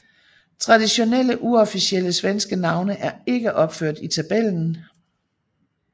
Traditionelle uofficielle svenske navne er ikke opført i tabellen